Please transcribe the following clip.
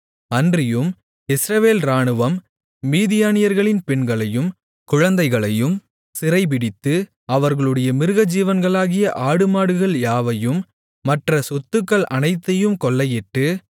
அன்றியும் இஸ்ரவேல் இராணுவம் மீதியானியர்களின் பெண்களையும் குழந்தைகளையும் சிறைபிடித்து அவர்களுடைய மிருகஜீவன்களாகிய ஆடுமாடுகள் யாவையும் மற்ற சொத்துகள் அனைத்தையும் கொள்ளையிட்டு